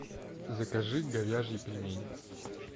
закажи говяжьи пельмени